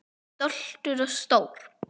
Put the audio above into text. Stoltur og stór.